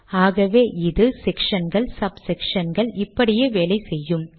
ஆகவே இது sectionகள் sub sectionகள் இப்படியே வேலை செய்யும்